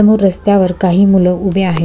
समोर रस्त्या वर काही मुल उभे आहे.